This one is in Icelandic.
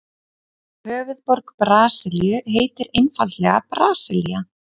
Höfuðborg Brasilíu heitir einfaldlega Brasilía.